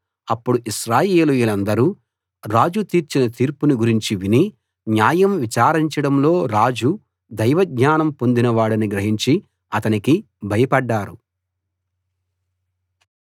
అప్పుడు ఇశ్రాయేలీయులందరూ రాజు తీర్చిన తీర్పును గురించి విని న్యాయం విచారించడంలో రాజు దైవజ్ఞానం పొందిన వాడని గ్రహించి అతనికి భయపడ్డారు